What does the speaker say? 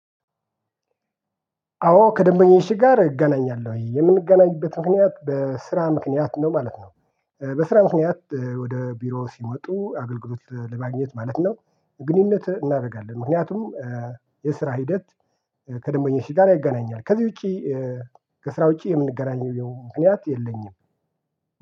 አዎ ከደንበኞቼ ጋር እገናኛለሁ የምንገናኝበት ምክንያት በስራ ምክንያት ነው ማለት ነው። በስራ ምክንያት ወደ ቢሮ ሲወጡ አገልግሎት ለማግኘት ማለት ነው። ግንኙነት እናደርጋለን ምክንያቱም የስራ ሂደት ከደንበኛው ጋር ያገናኘኛል ከዚህ ውጪ። ከስራ ውጪ የምንገናኘው ምክንያት የለኝም